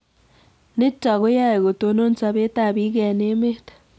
Nitok ko yae kotonon sobet ab piik eng emet